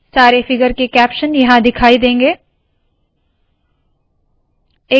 सारे फिगर के कैप्शन यहाँ दिखाई देंगे